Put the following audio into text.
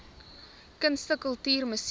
kunste kultuur musiek